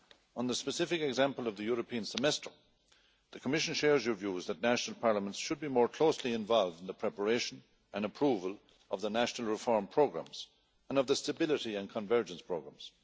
On the specific example of the European Semester, the Commission shares your views that national parliaments should be more closely involved in the preparation and approval of the national reform programmes and of the stability and convergence programmes.